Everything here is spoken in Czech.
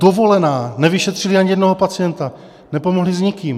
Dovolená, nevyšetřili ani jednoho pacienta, nepomohli s nikým.